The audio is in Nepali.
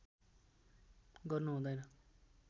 गर्नु हुदैन